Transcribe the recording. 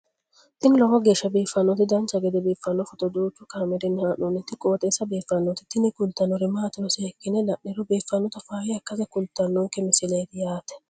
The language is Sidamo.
tini lowo geeshsha biiffannoti dancha gede biiffanno footo danchu kaameerinni haa'noonniti qooxeessa biiffannoti tini kultannori maatiro seekkine la'niro biiffannota faayya ikkase kultannoke misileeti yaate